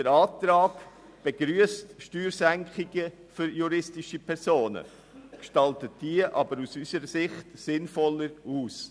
Der Antrag begrüsst Steuersenkungen für juristische Personen, gestaltet diese aus unserer Sicht aber sinnvoller aus.